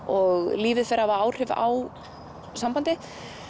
og lífið fer að hafa áhrif á sambandið